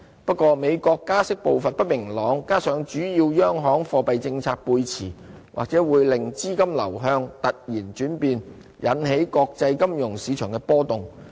不過，美國加息步伐不明朗，加上主要央行貨幣政策背馳，或會令資金流向突然轉變，引起國際金融市場波動。